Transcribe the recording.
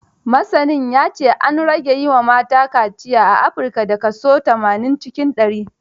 Masanin ya ce, an rage yi wa mata kaciya a Afrika, da kaso tamanin cikin ɗari.